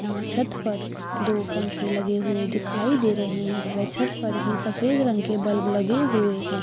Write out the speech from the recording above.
यहाँ छत पर दो पंखे दिखाई दे रहे है ये छत पर सफ़ेद रंग का बल्ब लगे हुए है।